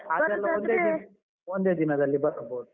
ಅದೆಲ್ಲ ಒಂದೇ ದಿನ ಒಂದೇ ದಿನದಲ್ಲಿ ಬರ್ಬೋದು.